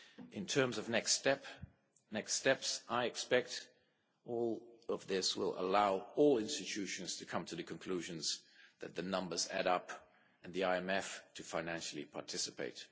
In terms of the next steps, I expect that all of this will allow all institutions to come to the conclusion that the numbers add up, and the IMF to financially participate.